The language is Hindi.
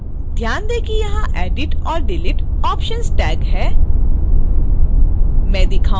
ध्यान tag कि यहाँ edit और delete options tag हैं